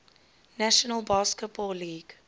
national basketball league